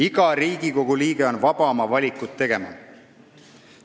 Iga Riigikogu liige on vaba oma valikuid tegema.